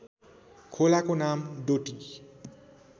खोलाको नाम डोटी